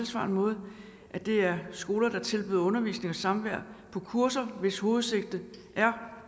samme måde at det er skoler der tilbyder undervisning og samvær på kurser hvis hovedsigte er